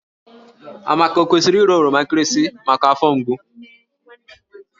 Amaka o kwesịrị ịra oroma nkịrịsị maka afọ mgbu?